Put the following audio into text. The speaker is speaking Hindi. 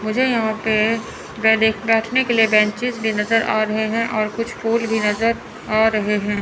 मुझे यहां पे बैठने के लिए कुछ बेंचेस भी नज़र आ रहे हैं और कुछ फूल भी नज़र आ रहे हैं।